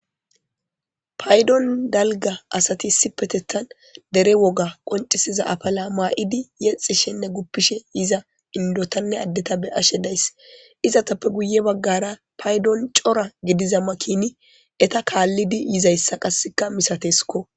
paydon dalga asati issipetethan dere woga qoncisiza apala ma'idi yexishenne guppishe yiza indotanne addeta be'ashe days izatappe guye baggara paydon cora gidiza makini etta kaallidi yizayssa qasseka misatesikko